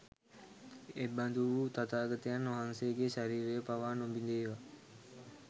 එබඳු වූ තථාගතයන් වහන්සේගේ ශරීරය පවා නොබිඳේවා